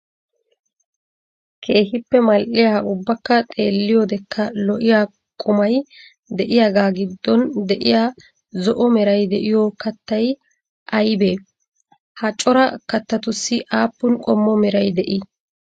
Keehippe mal'iyaa ubbakka xeelliyodekka lo'iyaa qumay de'iyaaga giddon de'iyaa zo'o meray de'iyo kattay aybee? Ha coraa kattatussi aapun qommo meray de'ii?